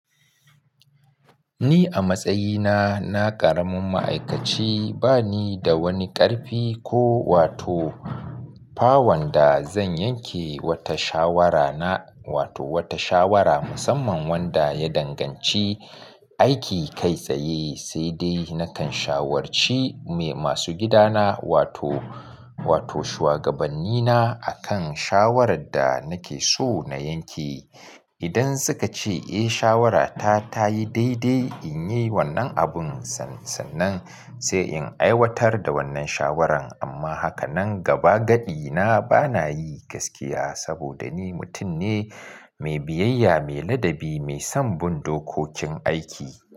Ni a matsayina na karamin ma'aikaci ba ni da wani ƙarfi ko wato power da zan yanke wata shawara na, wato wata shawara musamman wanda ya danganci aiki kai tsaye, sai dai nakan shawarci masu gidana wato, wato shugabannina a kan shawarar da nake so na yanke. Idan suka ce eh shawarata ta yi daidai in yi wannan abun sannan sai in aiwatar da wannan shawaran. Amma haka nan gaba gaɗi na bana yi gaskiya saboda ni mutum ne mai biyayya, mai ladabi, mai son bin dokokin aiki.